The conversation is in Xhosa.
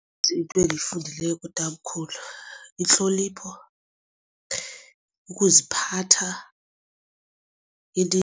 Ininzi into endiyifundileyo kutamkhulu intlonipho ukuziphatha